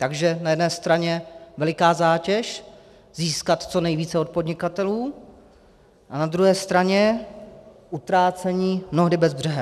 Takže na jedné straně veliká zátěž získat co nejvíce od podnikatelů a na druhé straně utrácení mnohdy bezbřehé.